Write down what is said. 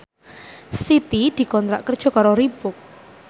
Siti dikontrak kerja karo Reebook